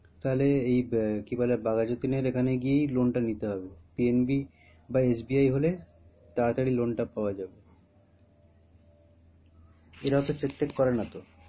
তাহলে এই আহ কি বলে বাঘাযতীনের এখানে গিয়েই loan টা নিতে হবে PNB বা SBI হলে তাড়াতাড়ি loan টা পাওয়া যাবে এরা অতো check টেক করে না তো?